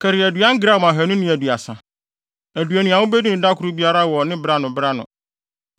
Kari aduan gram ahannu ne aduasa (230) aduonu a wubedi no da koro biara wɔ bere ano, bere ano.